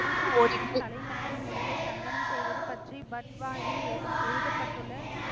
குரு சாகிபின் தலை மற்றும் உடலை தகனம் செய்வது பற்றி பட்வாயில் எழு~ எழுதப்பட்டுள்ள,